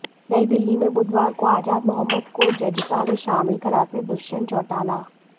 नयी दिल्ली में बुधवार को आजाद मोहम्मद को जजपा में शामिल कराते दुष्यंत चौटाला